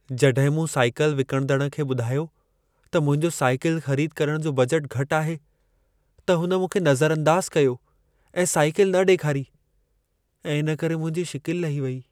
जॾहिं मूं साइकल विकिणंदड़ु खे ॿुधायो त मुंहिंजो साइकल ख़रीद करणु जो बजट घटि आहे, त हुन मूंखे नज़रअंदाज़ कयो ऐं साइकल न ॾेखारी ऐं इन करे मुंहिंजी शिकिलि लही वई।